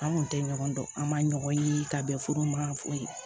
An kun tɛ ɲɔgɔn dɔn an ma ɲɔgɔn ye ka bɛn furu ma fo ye